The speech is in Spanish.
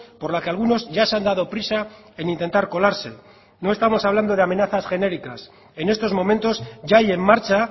por la que algunos ya se han dado prisa en intentar colarse no estamos hablando de amenazas genéricas en estos momentos ya hay en marcha